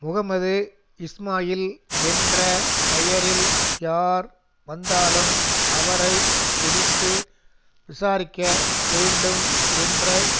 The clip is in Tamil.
முகமது இஸ்மாயில் என்ற பெயரில் யார் வந்தாலும் அவரை பிடித்து விசாரிக்க வேண்டும் என்று